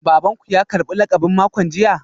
Baban ku ya karbi lakabin makon jiya?